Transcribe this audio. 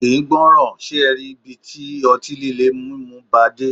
Kì ń gbọràn, ṣe e rí ibi tí ọtí líle mímu bàa dé.